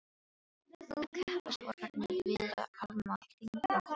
Nú keppast ormarnir við að afmá fingraför mín.